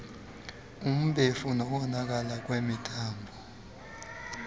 umbefu nokonakala kwemithambo